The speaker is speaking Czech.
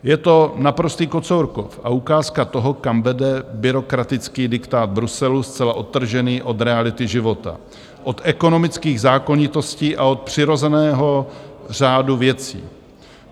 Je to naprostý Kocourkov a ukázka toho, kam vede byrokratický diktát Bruselu, zcela odtržený od reality života, od ekonomických zákonitostí a od přirozeného řádu věcí.